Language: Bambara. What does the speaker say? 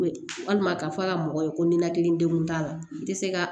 Walima ka fɔ ka mɔgɔ ye ko ninakili degun t'a la i tɛ se ka